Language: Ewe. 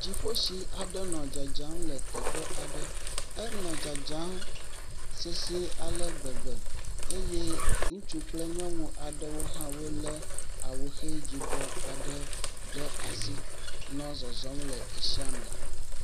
Dziƒotsi aɖe nɔ dzadzam le teƒe aɖe, enɔ dzadzam sesɛ̃e ale gbegbe eye ŋutsu kple nyɔnu aɖewo hã wolé awuxe yibɔ aɖe ɖe asi nɔ le tsia me.